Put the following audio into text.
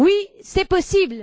Oui, c'est possible!